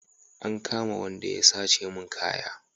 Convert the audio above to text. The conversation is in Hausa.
An kama Wanda ya sace mun kaya